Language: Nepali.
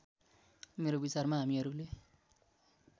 मेरो विचारमा हामीहरूले